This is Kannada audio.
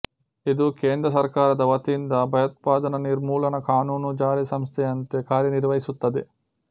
ಇದು ಕೇಂದ್ರ ಸರ್ಕಾರದ ವತಿಯಿಂದ ಭಯೋತ್ಪಾದನಾ ನಿರ್ಮೂಲನ ಕಾನೂನು ಜಾರಿ ಸಂಸ್ಥೆಯಂತೆ ಕಾರ್ಯ ನಿರ್ವಹಿಸುತ್ತದೆ